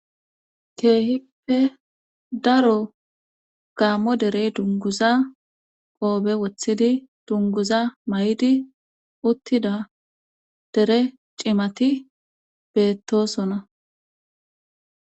keehippe daro gaammo derey dunguza qoobe wothidi dunguza may7idi uttida dere cimati beettosona